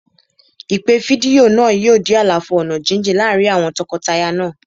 Ìpè fídíò náà yóò dí àlàfo ọ̀nà jíjìn àárín àwọn tọkọtaya náà.